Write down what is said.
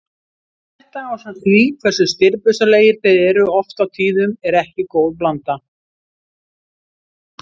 Þetta ásamt því hversu stirðbusalegir þeir eru oft á tíðum er ekki góð blanda.